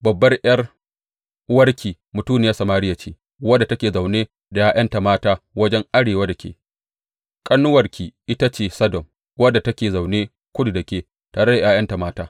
Babbar ’yar’uwarki mutuniyar Samariya ce, wadda take zaune da ’ya’yanta mata wajen arewa da ke; ƙanuwarki ita ce Sodom wadda take zaune kudu da ke tare da ’ya’yanta mata.